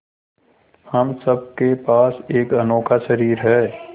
हम सब के पास एक अनोखा शरीर है